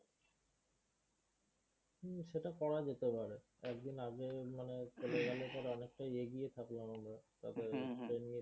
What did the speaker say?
হম সেটা করা যেতে পারে। একদিন আগে মানে চলে গেলে তো অনেকটাই এগিয়ে থাকল আমাদের